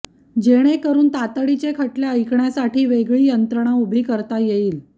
जेणेकरून तीतडीचे खटले ऐकण्यासाठी वेगळी यंत्रणा उभी करती येईल